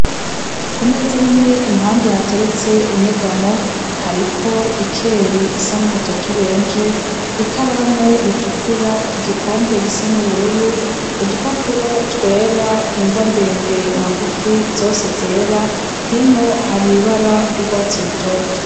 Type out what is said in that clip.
Ku meza nini impande hateretse inyegamo hariko ikeri isa n'umutoto ubenje i karamu ritukura igikombe gisa n'ubururu udupapuro twera ingwa ndende na ngufi zose zera hino hari ibara ry'urwatsi rutoto.